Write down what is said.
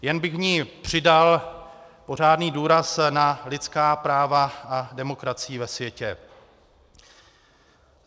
Jen bych v ní přidal pořádný důraz na lidská práva a demokracii ve světě.